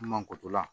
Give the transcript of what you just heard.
Mankotola